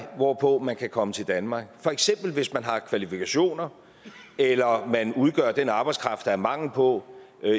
hvorpå man kan komme til danmark for eksempel hvis man har kvalifikationer eller man udgør den arbejdskraft der er mangel på